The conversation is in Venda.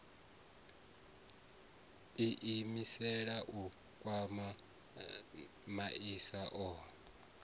iimisela u kwama masia ohe